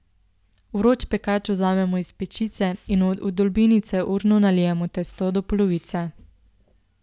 Vroč pekač vzamemo iz pečice in v vdolbinice urno nalijemo testo do polovice.